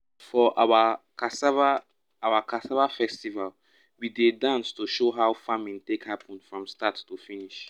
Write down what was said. for our cassava our cassava festival we dey dance to show how farming take happen from start to finish.